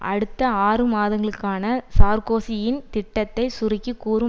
அடுத்த ஆறுமாதங்களுக்கான சார்க்கோசியின் திட்டத்தை சுருக்கி கூறும்